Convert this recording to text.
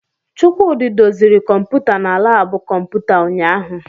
Chukwudi doziri kọmpụta na labu kọmputa ụnyaahụ.